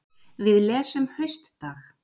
Við lesum Haustdag